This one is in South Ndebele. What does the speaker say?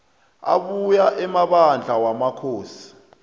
abuya emabandla wamakhosi